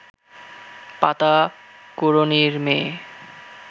পাতা কুড়োনির মেয়ে